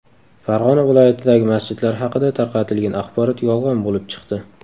Farg‘ona viloyatidagi masjidlar haqida tarqatilgan axborot yolg‘on bo‘lib chiqdi.